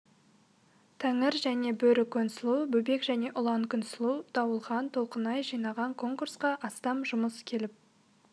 тәңір және бөрі күнсұлу бөбек және ұлан күнсұлу дауылхан толқынай жинаған конкурсқа астам жұмыс келіп